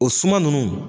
O suma nunnu